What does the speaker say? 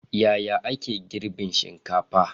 Yaya aka yi girbin shinkafa?